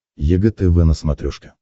егэ тв на смотрешке